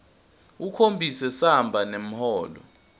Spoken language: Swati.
ukhombise samba semholo